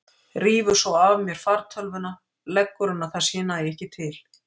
Rífur svo af mér fartölvuna, leggur hana þar sem ég næ ekki til.